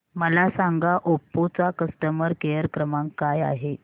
मला सांगा ओप्पो चा कस्टमर केअर क्रमांक काय आहे